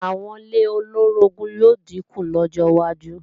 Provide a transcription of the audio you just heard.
Àwọn ilé olóorogún yóò dínkù lọ́jọ wájú